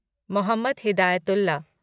Mohammad Hidayatullah